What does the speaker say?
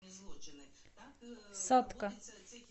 сатка